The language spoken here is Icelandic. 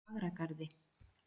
Fagragarði